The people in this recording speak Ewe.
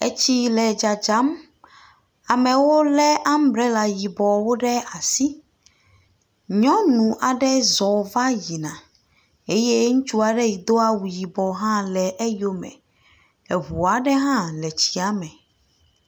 Etsi le dzadzam. Amewo lé ambrela yibɔwo ɖe asi. Nyɔnu aɖe zɔ va yina eye ŋutsu aɖe si do yibɔ hã le eyo me. Eŋu aɖe hã le tsia me.